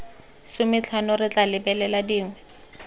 sometlhano re tla lebelela dingwe